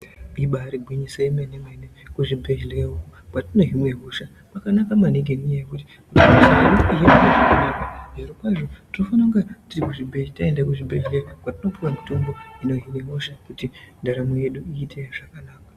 Ibari gwinyiso yomene mene kuzvibhedhlera uko kwatinohinwe hosha kwakanaka maningi ngenyaya yekuti mitombo yatino hinwa inopodza marwadzo zvirokwazvo tinofanira taenda kuzvibhedhlera kwatinopuwa mitombo inohinwa hosha kuitira kuti ndaramo yedu iite zvakanaka.